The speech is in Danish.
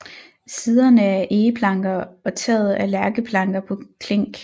Siderne er egeplanker og taget er lærkeplanker på klink